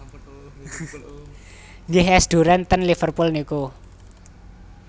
Nggih es duren ten Liverpool niku